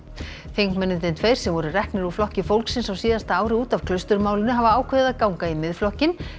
þingmennirnir tveir sem voru reknir úr Flokki fólksins á síðasta ári út af hafa ákveðið að ganga í Miðflokkinn